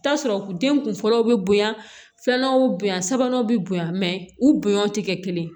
Taa sɔrɔ den kun fɔlɔ bɛ bonya filanan bonya sabanan bɛ bonya u bonya tɛ kɛ kelen ye